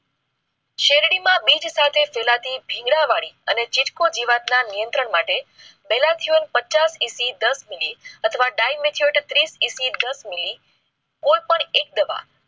શેરડી માં બીજ સાથે ફેલાતી બિગડ વળી અને ચીર કૃત જીવાત ના નિયંત્રણ માટે બેલા જીવન પચાસ દંડ દાસ મિનિટ ટીમેચોક તીસ એસી દાસ મિલી કોઈ પણ એક દવા